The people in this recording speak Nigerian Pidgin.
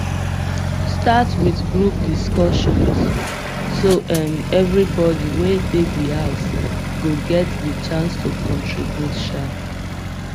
start with group discussion so um everybody wey de di house go get di chance to contribute um